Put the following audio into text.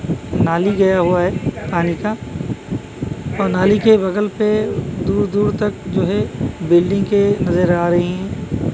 नाली गया हुआ है पानी का और नाली के बगल पे दूर दूर तक जो है बिल्डिंग के नजर आ रही है।